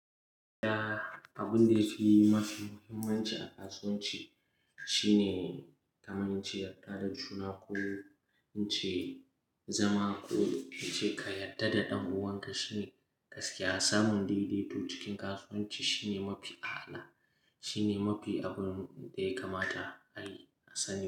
Ya abun da yake mafi muhimmanci a kasuwanci shine kaman in ce yarda da juna ko in ce zama ko in ce ka yarda da dan uwanka shine gaskiya. Samun daidaito cikin kasuwanci shine mafi a'ala, shine mafi abun da ya kamata a yi a sani.